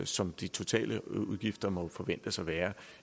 som de totale udgifter må forventes at være